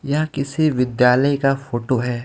यह किसी विद्यालय का फोटो हे.